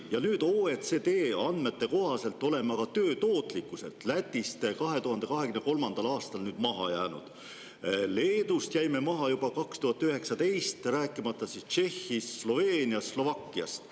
OECD andmete kohaselt oleme aga töö tootlikkuselt Lätist 2023. aastal maha jäänud, Leedust jäime maha juba 2019, rääkimata Tšehhist, Sloveeniast, Slovakkiast.